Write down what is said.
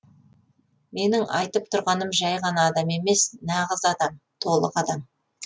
менің айтып тұрғаным жай ғана адам емес нағыз адам толық адам